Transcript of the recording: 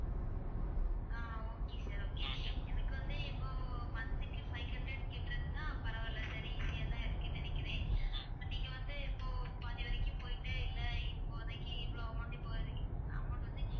ஆஹ் okay sir okay எனக்கு வந்து இப்போ month க்கு five hundred கட்டறதுன்னா பரவாயில்லை சரி easy ஆதான் இருக்குன்னு நினைக்கிறேன் நீங்க வந்து இப்போ பாதி வரைக்கும் போயிட்டு இல்ல இப்போதைக்கு இவ்வளவு amount இப்போ amount வந்து